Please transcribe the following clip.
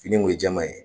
Fini kun ye jɛman ye